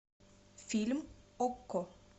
фильм окко